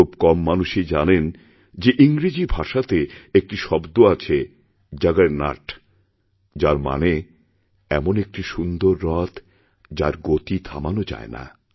খুব কম মানুষই জানেন যে ইংরেজি ভাষাতে একটি শব্দ আছে জাগারনট যার মানে এমনএকটি সুন্দর রথ যার গতি থামানো যায় না